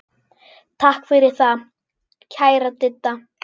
Takk fyrir það, kæra Didda.